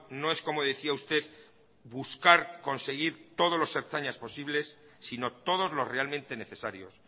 no es como decía usted buscar conseguir todos los ertzainas posibles sino todos los realmente necesarios